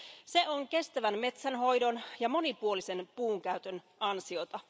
Se on kestävän metsänhoidon ja monipuolisen puun käytön ansiota.